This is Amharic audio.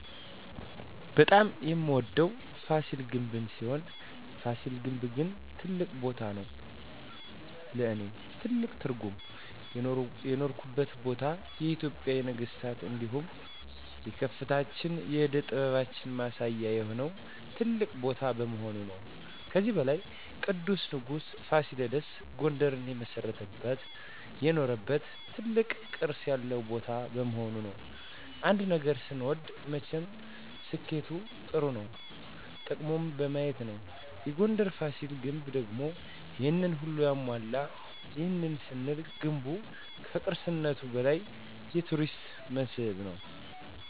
በጣም የምወደዉ ፋሲል ግንብ ሲሆን ፋሲል ግን ትልቅ ቦታም ነዉ ለእኔ ትልቅ ትርጉም የኖረባት ቦታ የኢትጵያን የነገስታት እንዲሁም የከፍታችን የእደ ጥበባችን ማሳያ የሆነ ትልቅ ቦታ በመሆኑ ነዉ። ከዚህም በላይ ቅዱሱ ንጉስ ፋሲለደስ ጉንደርን የመሰረተበት የኖረበት ትልቅ ቅርስ ያለበት ቦታ በመሆኑ ነዉ። አንድ ነገር ስንወድ መቸም ስኬቱ ጥሩነቱ ጥቅሙን በማየት ነዉ የጉንደሩ ፋሲል ግንብ ደግሞ ይሄንን ሁሉ ያሟላል ይህንንም ስንል ገንቡ ከቅርስነቱም በላይ የቱሪስት መስህብ ነዉ።